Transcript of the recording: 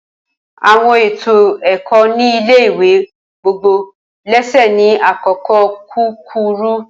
Awọn eto ẹkọ ni ile ìwé gbogbo lésè ni akoko kukuru